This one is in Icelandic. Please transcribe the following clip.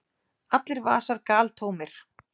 Allir vasar galtómir!